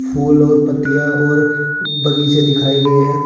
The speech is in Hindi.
फूल और पत्तियां और बगीचे दिखाए गए हैं।